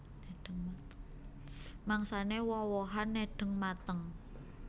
Mangsané woh wohan nedheng mateng